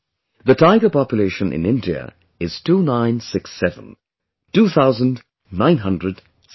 The tiger population in India is 2967, two thousand nine hundred sixty seven